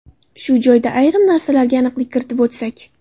Shu joyda ayrim narsalarga aniqlik kiritib o‘tsak.